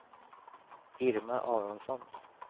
Irma Aronsson